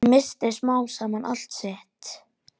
Hann missti smám saman allt sitt.